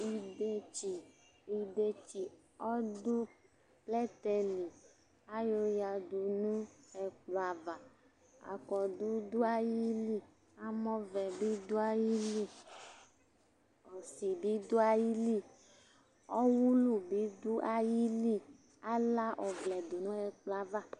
Idetsi, idetsi ɔdʋ plɛtɛ li Ayɔyǝdu nʋ ɛkplɔ ava Akɔdʋ dʋ ayili Amɔvɛ bɩ dʋ ayili Ɔsɩ bɩ dʋ ayili Ɔwʋlʋ bɩ ɔdʋ ayili Ala ɔvlɛ dʋ nʋ ɛkplɔ yɛ ava